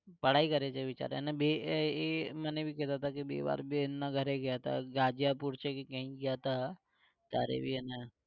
पढाई કરે છે ને બિચારા અને બે એ એ મને भी કહેતા હતા કે બે વાર બેનના ઘરે ગયા હતા ગાજિયાપૂર છે કે કઈંક ગયા હતા, ત્યારે ભી એને